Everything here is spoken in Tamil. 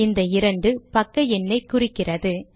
இந்த 2 பக்க எண்ணை குறிக்கிறது